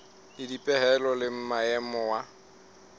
le dipehelo le maemo wa